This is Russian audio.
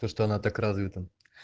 то что она так развита